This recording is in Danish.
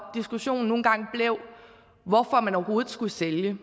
diskussionen nogle gange blev hvorfor man overhovedet skulle sælge